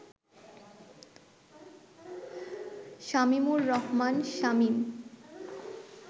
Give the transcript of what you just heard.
Shamimur Rahman Shamim